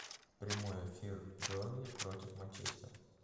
прямой эфир бернли против манчестер